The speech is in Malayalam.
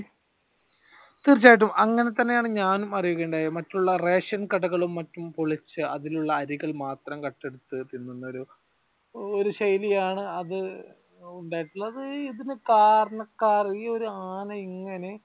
തീർച്ചയായ്യിട്ടും അങ്ങനെ തന്നെയാണ് ഞാനും അറിയുകയുണ്ടായത് മറ്റുള്ള റേഷൻ കടകളും മറ്റും പൊളിച്ചു അതിലുള്ള അരികൾ മാത്രം കട്ടെടുത്തു തിന്നുന്ന ഒരു ഒരു ശൈലിയാണ് അത് ഉണ്ടായിട്ടുള്ളത്. ഇതിനു കാരണക്കാരൻ ഈ ഒരു ആന ഇങ്ങനെ